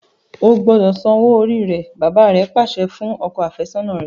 O gbọdọ sàn òwò orí rẹ! bàbà rè pàṣẹ fún ọkọ afesona rẹ.